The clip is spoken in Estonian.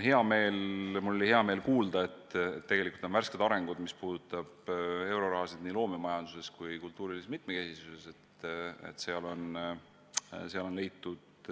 Mul oli hea meel kuulda, et mis puudutab eurorahasid nii loomemajanduse kui ka kultuurilise mitmekesisuse edendamiseks, siis seal on värskeid arenguid, on leitud